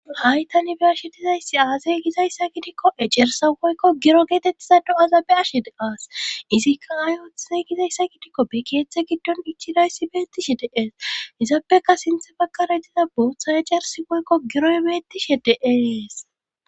ha7i tani be7ashe dizayssi aaze gizayssa gidikko ecerssa woykko giro geetettiza do7aza be7ashe de7as izikka ay masatize gizayssa gidikko be keetha giddo ichchidayssi beettishe de7ees izapekka sinte baggara diza boota ecerssi woyko giroy beettishe de7ees.